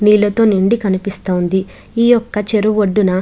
నీళ్లతో నుండి కనిపిస్తుంది. ఈ ఒక చెరువు ఒడ్డున --